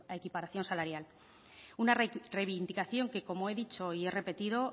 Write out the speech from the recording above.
equiparación salarial una reivindicación que como he dicho y he repetido